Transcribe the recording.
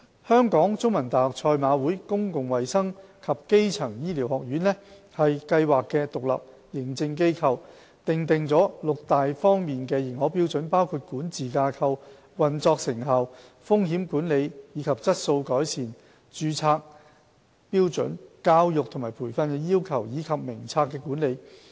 香港中文大學賽馬會公共衞生及基層醫療學院為計劃的獨立認證機構，訂定六大方面的認可標準，包括管治架構、運作成效、風險管理和質素改善、註冊標準、教育和培訓要求，以及名冊的管理。